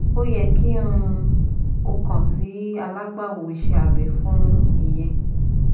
O yẹ ki um o kan si alagbawo ise abe fun iyẹn